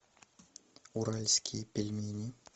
уральские пельмени